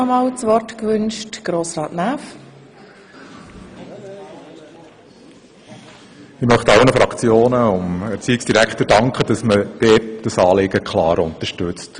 Ich möchte allen Fraktionen sowie dem Erziehungsdirektor dafür danken, dass man dieses Anliegen klar unterstützt.